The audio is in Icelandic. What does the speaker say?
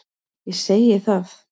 Ég segi það.